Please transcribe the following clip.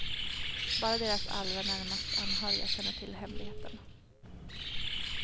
Bara deras allra närmast anhöriga känner till hemligheten.